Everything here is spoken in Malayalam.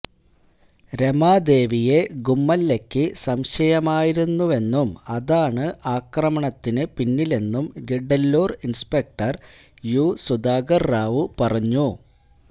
രമാ ദേവിയെ ഗുമ്മല്ലയ്ക്ക് സംശയമായിരുന്നെന്നും ഇതാണ് ആക്രമണത്തിന് പിന്നില്ലെന്നും ഗിഡ്ഡല്ലൂർ ഇൻസ്പെക്ടർ യു സുധാകർ റാവു പറഞ്ഞു